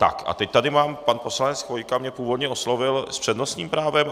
Tak a teď tady mám - pan poslanec Chvojka mě původně oslovil - s přednostním právem?